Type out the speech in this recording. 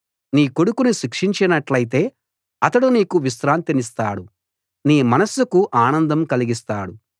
నీ కొడుకును శిక్షించినట్టయితే అతడు నీకు విశ్రాంతినిస్తాడు నీ మనస్సుకు ఆనందం కలిగిస్తాడు